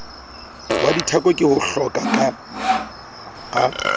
wa dithako ke hohloka a